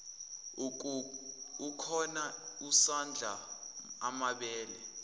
ukhona usadla amabele